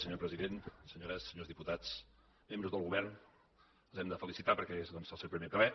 senyor president senyores i senyors diputats membres del govern els hem de felicitar perquè és doncs el seu primer ple